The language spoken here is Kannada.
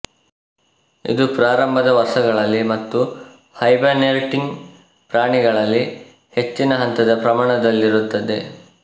ಇದು ಪ್ರಾರಂಭದ ವರ್ಷಗಳಲ್ಲಿ ಮತ್ತು ಹೈಬರ್ನೇಟಿಂಗ್ ಪ್ರಾಣಿಗಳಲ್ಲಿ ಹೆಚ್ಚಿನ ಹಂತದ ಪ್ರಮಾಣದಲ್ಲಿರುತ್ತದೆ